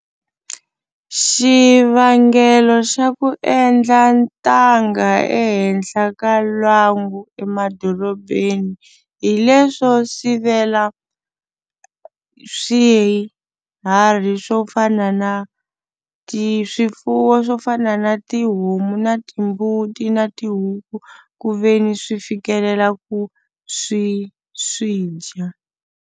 Xivangelo xa ku endla ntanga ehenhla ka lwangu emadorobeni hi leswo sivela swiharhi swo fana na ti swifuwo swo fana na tihomu na timbuti na tihuku ku ve ni swi fikelela ku swi swi dya.